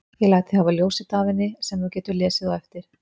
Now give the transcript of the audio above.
Ég læt þig hafa ljósrit af henni sem þú getur lesið á eftir.